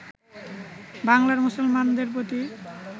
বাংলার মুসলমানদের প্রতি